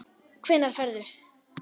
Hvenær ferðu?